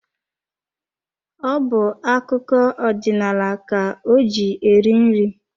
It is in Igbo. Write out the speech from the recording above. Ọ bu akụkọ odinaala ka o ji eri nri.